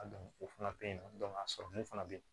o fana bɛ yen nɔ a sɔrɔli fana be ye